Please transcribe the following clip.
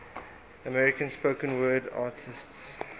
american spoken word artists